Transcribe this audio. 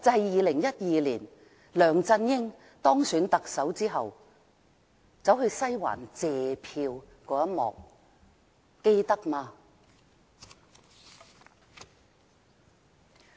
2012年梁振英當選特首後去"西環"謝票這一幕，大家還記得嗎？